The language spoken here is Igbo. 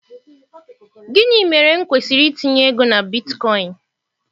Gịnị mere m kwesịrị itinye ego na bitcoin?